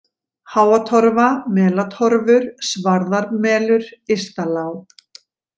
Háatorfa, Melatorfur, Svarðarmelur, Ystalág